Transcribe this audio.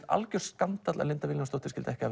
algjör skandall að Linda Vilhjálmsdóttir skyldi ekki